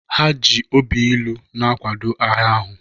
Ha ji obi ilu na-akwado agha ahụ